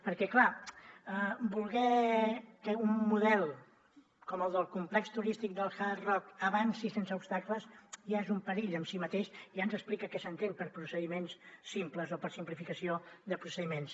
perquè clar voler que un model com el del complex turístic del hard rock avanci sense obstacles ja és un perill en si mateix ja ens explica què s’entén per procediments simples o per simplificació de procediments